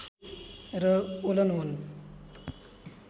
र ओलन हुन्